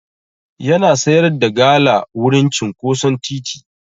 Yana sayar da gala wurin cinƙoson titi.